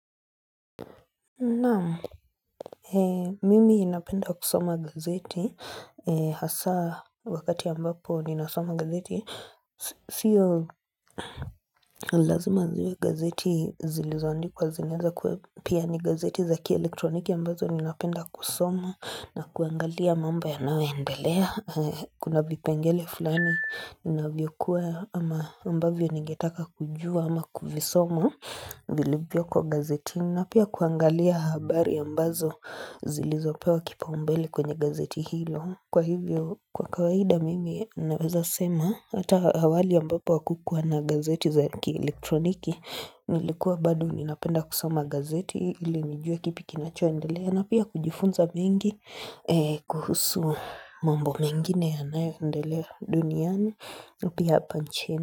Naam, mimi napenda kusoma gazeti, hasa wakati ambapo ninasoma gazeti, siyo lazima ziwe gazeti zilizoandikwa zinaweza kuwa pia ni gazeti zaki elektroniki ambazo ninapenda kusoma na kuangalia mambo yanayo endelea. Kuna vipengele fulani vinavyokuwa ama ambavyo ningetaka kujua ama kuvisomo vilivyo kwa gazetini na pia kuangalia habari ambazo zilizopewa kipaumbele kwenye gazeti hilo kwa hivyo kwa kawaida mimi naweza sema hata awali ambapo hakukuwa na gazeti za ki elektroniki nilikuwa bado ninapenda kusoma gazeti ili nijue kipi kinachoendelea na pia kujifunza mengi kuhusu mambo mengine yanayoendelea duniani na pia hapa nchini.